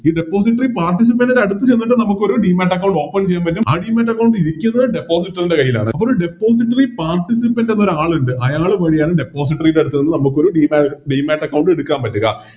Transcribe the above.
Depository participant അടുത്ത് ചെന്നിട്ട് നമുക്കൊരു Demat account open ചെയ്യാൻ പറ്റും ആ Demat account ഇരിക്കുന്നത് Depository യുടെ കൈയിലാണ് അപ്പൊ ഒരു Depository participant എന്നൊരാളിണ്ട് അയാള് വഴിയാണ് Depository യുടെ അടുത്ത് നിന്ന് നമുക്കൊരു ഡി ഡാ Demat account എടുക്കാൻ പറ്റുക